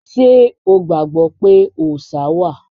Ṣé o gbàgbọ́ pé òòṣá wà?